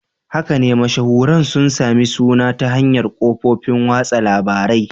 Haka ne, mashahuran sun sami suna ta hanyar kafofin watsa labarai.